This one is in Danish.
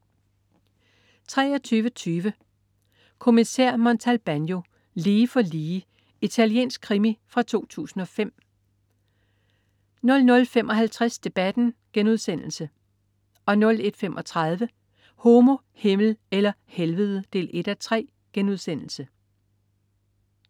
23.20 Kommissær Montalbano: Lige for lige. Italiensk krimi fra 2005 00.55 Debatten* 01.35 Homo, Himmel eller Helvede 1:3*